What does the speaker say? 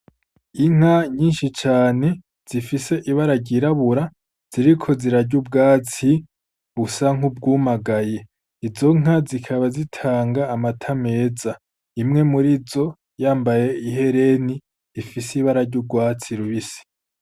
Inka nyinshi cane zifise ibara ryirabura ziriko zirarya ubwatsi busa nk’ubwumagaye. Izo nka zikaba zitanga amata menshi, imwe muri zo yambaye ihereni ifise ibara ry’urwatsi rubisi.